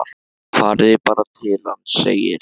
Farið þið bara til hans, segir